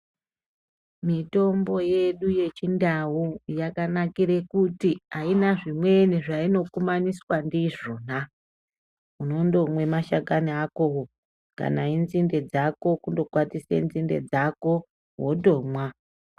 Mitombo yedu yechindau yakanakira kuti ayina zvimweni zvainokumaniswa ndizvona .Unondomwa mashakani akowo kana enzimbe dzako wondokwatisa nzimbe dzako wotomwa.